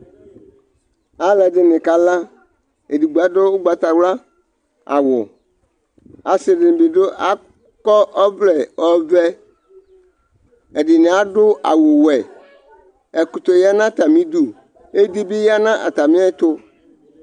Aluɛdɩnɩ kala Edigbo adu ʋgbatawla awu Asi dɩnɩ bɩ akɔ ɔvlɛ ɔvɛ Ɛdɩnɩ adu awʋwɛ Ɛkʋtɛ ya nʋ atamɩ idu Edi bɩ ya nʋ atamɩ ɛtʋ